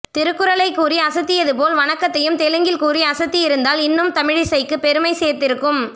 திருக்குறளை கூறி அசத்தியது போல் வணக்கத்தையும் தெலுங்கில் கூறி அசத்தியிருந்தால் இன்னும் தமிழிசைக்கு பெருமை சேர்ந்திருக்கும்